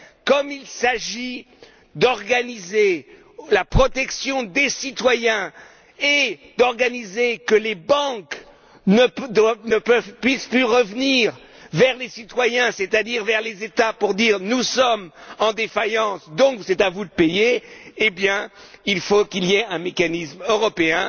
Comme il s'agit d'organiser la protection des citoyens et de faire en sorte que les banques ne puissent plus revenir vers les citoyens, c'est à dire vers les États, pour dire Nous sommes en faillite, donc c'est à vous de payer, il faut qu'il y ait un mécanisme européen.